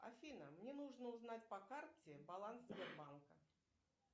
афина мне нужно узнать по карте баланс сбербанка